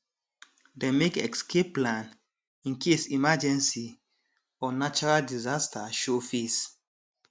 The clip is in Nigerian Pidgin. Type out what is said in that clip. dem make escape plan in case emergency or natural disaster show face